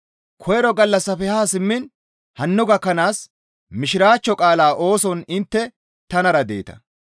Koyro gallassafe haa simmiin hanno gakkanaas Mishiraachcho qaalaa ooson intte tanara deeta.